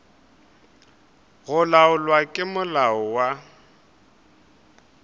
go laolwa ke molao wa